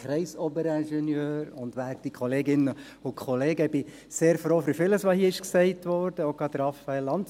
Ich bin sehr froh für vieles, das hier gesagt wurde, auch gerade Raphael Lanz: